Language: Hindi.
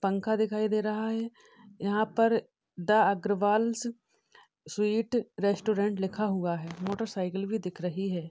पंखा दिखाई दे रहा है। यहाँ पर द अग्रवालस स्वीट रेस्टोरेंट लिखा हुआ है। मोटरसाइकिल भी दिख रही है।